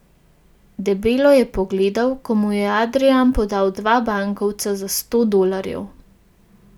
Debelo je pogledal, ko mu je Adrijan podal dva bankovca za sto dolarjev.